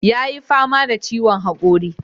Yayi fama da ciwon haƙori.